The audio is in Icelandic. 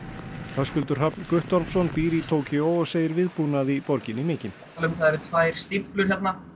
Höskuldur Hrafn Guttormsson býr í Tókýó og segir viðbúnað í borginni mikinn það eru tvær stíflur